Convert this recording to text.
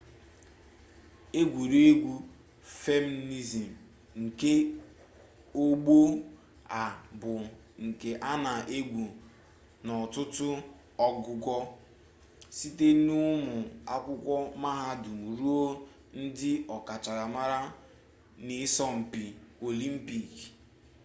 egwuregwu fensịn nke ọgbọ a bụ nke a na-egwu n'ọtụtụ ogugo site n'ụmụ akwụkwọ mahadum ruo na ndị ọkachamara n'ịsọmpi olimpik